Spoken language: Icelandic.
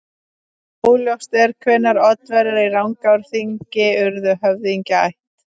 Óljóst er hvenær Oddaverjar í Rangárþingi urðu höfðingjaætt.